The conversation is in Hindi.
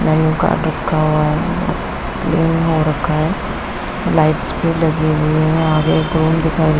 मेनू कार्ड रखा हुआ है हो रखा है। लाइट्स भी लगी हुई हैआगे दिखाई--